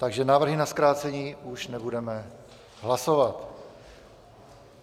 Takže návrhy na zkrácení už nebudeme hlasovat.